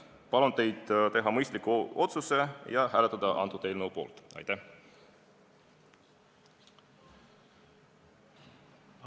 Palun teid teha mõistlik otsus ja hääletada selle eelnõu poolt!